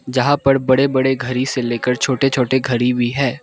यहां पर बड़े बड़े घड़ी से लेकर छोटे छोटे घड़ी भी है।